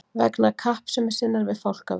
vegna kappsemi sinnar við fálkaveiðar.